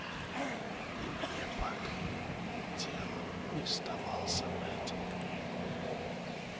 и мне поделом не сдавался мэтт